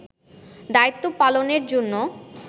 দায়িত্ব পালনের জন্য